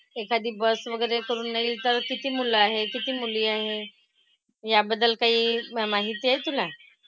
एखादी bus वगैरे करूनही तर किती मुलं आहेत? किती मुली आहेत? याबद्दल काही माहिती आहे तुला?